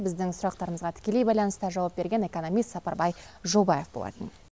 біздің сұрақтарымызға тікелей байланыста жауап берген экономист сапарбай жобаев болатын